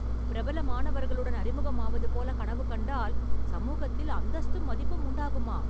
பிரபலமானவர்களுடன் அறிமுகம் ஆவது போல கனவு கண்டால், சமூகத்தில் அந்தஸ்தும் மதிப்பும் உண்டாகுமா...